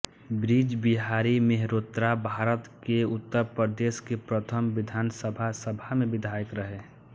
बृज बिहारी मेहरोत्राभारत के उत्तर प्रदेश की प्रथम विधानसभा सभा में विधायक रहे